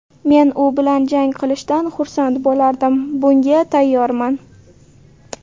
Men u bilan jang qilishdan xursand bo‘lardim, bunga tayyorman.